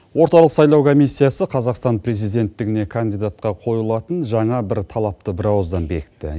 орталық сайлау комиссиясы қазақстан президенттігіне кандидатқа қойылатын жаңа бір талапты бір ауыздан бекітті